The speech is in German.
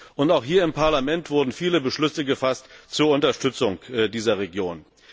Und auch hier im Parlament wurden viele Beschlüsse gefasst zur Unterstützung der Regionen.